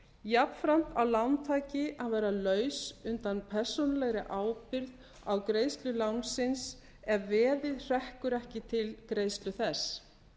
jafnframt á lántaki að vera laus undan persónulegri ábyrgð á greiðslu lánsins ef veðið hrekkur ekki til greiðslu þess